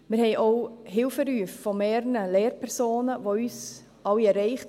Es haben uns auch Hilferufe von mehreren Lehrpersonen erreicht.